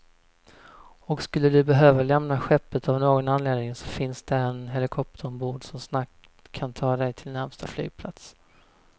Och skulle du behöva lämna skeppet av någon anledning så finns där en helikopter ombord, som snabbt kan ta dig till närmsta flygplats.